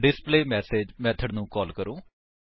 ਹੁਣ display message method ਨੂੰ call ਕਰੋ